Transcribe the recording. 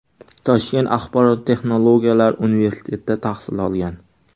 Toshkent axborot texnologiyalari universitetida tahsil olgan.